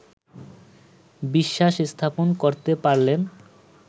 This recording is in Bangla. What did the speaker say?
বিশ্বাস স্থাপন করতে পারলেন